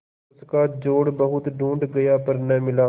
उसका जोड़ बहुत ढूँढ़ा गया पर न मिला